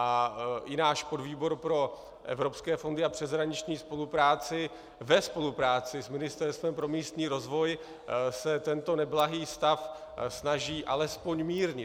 A i náš podvýbor pro evropské fondy a přeshraniční spolupráci ve spolupráci s Ministerstvem pro místní rozvoj se tento neblahý stav snaží alespoň mírnit.